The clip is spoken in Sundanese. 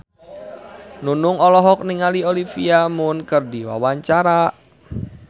Nunung olohok ningali Olivia Munn keur diwawancara